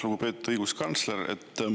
Lugupeetud õiguskantsler!